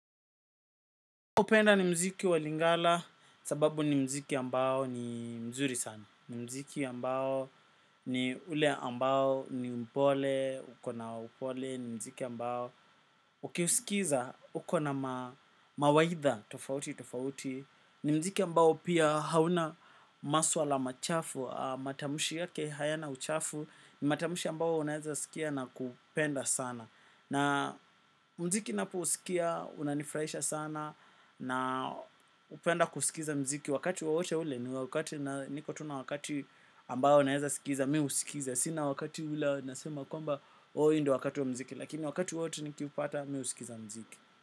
Upenda ni mziki wa lingala, sababu ni mziki ambao ni mzuri sana. Ni mziki ambao ni ule ambao ni mpole, ukona upole, ni mziki ambao. Ukiusikiza, uko na mawaidha, tofauti, tofauti. Ni mziki ambao pia hauna maswa la machafu, matamushi yake hayana uchafu. Ni matamushi ambao unaezasikia na kupenda sana. Na mziki napousikia, unanifraisha sana na napenda kusikiza mziki wakati wowote ule ni wakati na niko tu na wakati ambayo naeza sikiza, mi usikiza. Sina wakati ule nasema kwamba, oo ndio wakati wa mziki. Lakini wakati wote nikiupata, mi usikiza mziki.